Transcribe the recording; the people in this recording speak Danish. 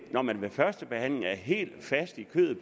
når man ved førstebehandlingen er helt fast i kødet